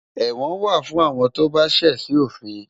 Ẹ̀wọ̀n wà fún àwọn tó bá ṣẹ̀ sí òfin